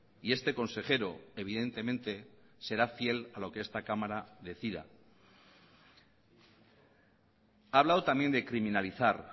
y este consejero evidentemente será fiel a lo que esta cámara decida ha hablado también de criminalizar